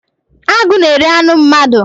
Agụ na-eri anụ mmadụ.